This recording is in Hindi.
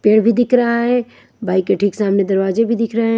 पेड़ भी दिख रहा है बाइक के ठीक सामने दरवाजे भी दिख रहे हैं।